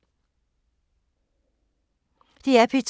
DR P2